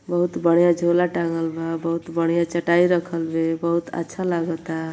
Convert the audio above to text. बहुत बढ़िया झोला टाँगल बा बहुत बढ़िया चटाई रखल बे। बहुत अच्छा लागता।